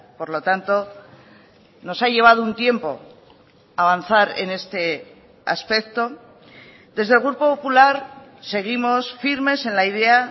por lo tanto nos ha llevado un tiempo avanzar en este aspecto desde el grupo popular seguimos firmes en la idea